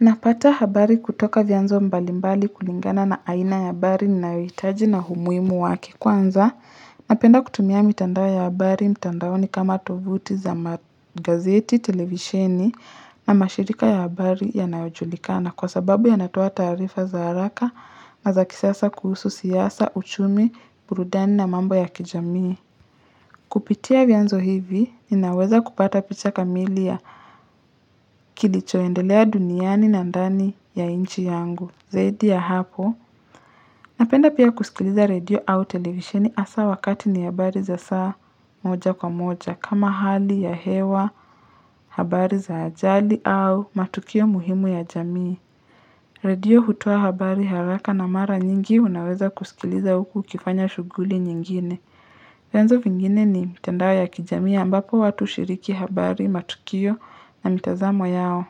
Napata habari kutoka vyanzo mbalimbali kulingana na aina ya habari ninayohitaji na umuhimu wake, kwanza. Napenda kutumia mitandao ya habari, mtandaoni kama tovuti za magazeti, television na mashirika ya habari yanayojulikana kwa sababu yana toa tarifa za haraka na za kisasa kuhusu siasa, uchumi, burudani na mambo ya kijamii. Kupitia vyanzo hivi, ninaweza kupata picha kamili ya kilichoendelea duniani na ndani ya nchi yangu. Zaidi ya hapo, napenda pia kusikiliza radio au television hasa wakati ni habari za saa moja kwa moja kama hali ya hewa, habari za ajali au matukio muhimu ya jamii. Radio hutoa habari haraka na mara nyingi unaweza kusikiliza huku ukifanya shughuli nyingine. Vyanzo vingine ni mitandao ya kijamii mbapo watu hushiriki habari matukio na mitazamo yao.